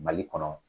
Mali kɔnɔ